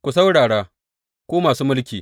Ku saurara, ku masu mulki!